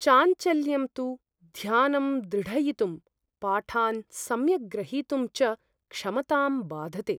चाञ्चल्यं तु ध्यानं द्रढयितुं, पाठान् सम्यक् ग्रहीतुं च क्षमतां बाधते।